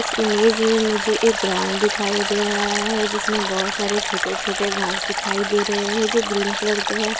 इस इमेज में मुझे एक ग्राउंड दिखाई दे रहा है जिसमें बहोत सारे छोटे छोटे घांस दिखाई दे रहे हैं जो ग्रीन कलर के हैं।